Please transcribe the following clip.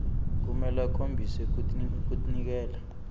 kumele akhombise kutinikela